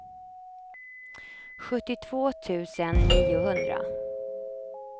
sjuttiotvå tusen niohundra